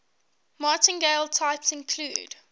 martingale types include